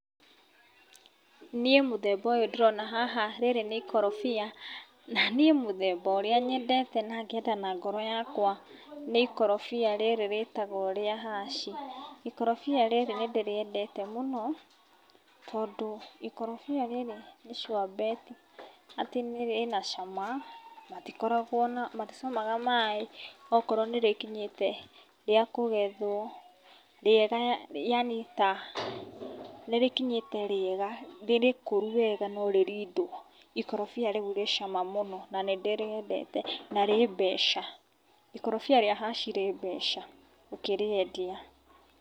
Niĩ mũthemba ũyũ ndĩrona haha, rĩrĩ ni ikorobia, na niĩ mũthemba ũrĩa nyendete na ngenda na ngoro yakwa nĩ ikorobia rĩrĩ rĩtagwo rĩa haci. Ikorobia rĩrĩ nĩ ndĩrĩendete mũno, tondũ ikorobia rĩrĩ nĩ sure bet atĩ rĩna cama, matikoragwo na, maticamaga maĩ okorwo nĩ rĩkinyĩte rĩa kũgethwo, rĩega yani ta, nĩrĩkinyĩte rĩega, nĩrĩkũru wega no rĩrindwo. Ikorobia rĩu rĩ cama mũno na nĩndĩrĩendete na rĩ mbeca. Ikorobia rĩa haci rĩ mbeca ũkĩrĩendia.